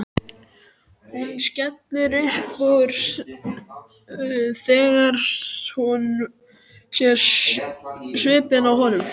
Hún skellir upp úr þegar hún sér svipinn á honum.